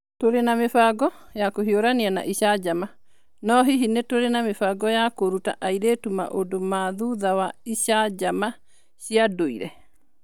Tũrĩ na mĩbango ya kũhiũrania na icanjama, no hihi nĩ tũrĩ na mĩbango ya kũruta airĩtu maũndũ ma thutha wa icanjama cia ndũire?